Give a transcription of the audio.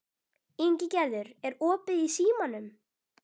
Ingigerður, er opið í Símanum?